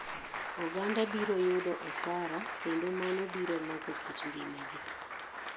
Oganda biro yudo osara kendo mano biro loko kit ngima gi